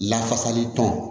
Lafasali tɔn